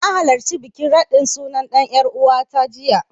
Na halarci bikin raɗin suna ɗan ƴaruwata jiya.